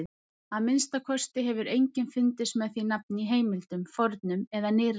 Að minnsta kosti hefur enginn fundist með því nafn í heimildum, fornum eða nýrri.